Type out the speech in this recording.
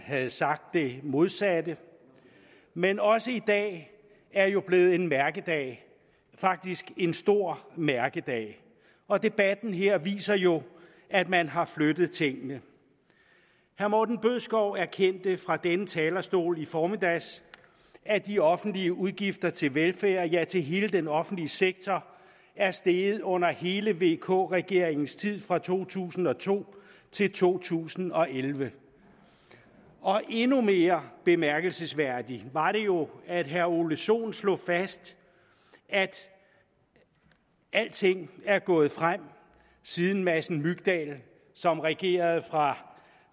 havde sagt det modsatte men også i dag er jo blevet en mærkedag faktisk en stor mærkedag og debatten her viser jo at man har flyttet tingene herre morten bødskov erkendte fra denne talerstol i formiddag at de offentlige udgifter til velfærd ja til hele den offentlige sektor er steget under hele vk regeringens tid fra to tusind og to til to tusind og elleve endnu mere bemærkelsesværdigt var det jo at herre ole sohn slog fast at alting er gået frem siden madsen mygdal som regerede fra